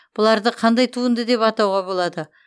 бұларды қандай туынды деп атауға болады